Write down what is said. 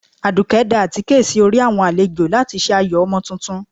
Adùké da àtíké sí orí awọn alèjọ latí se ayó Omo túntún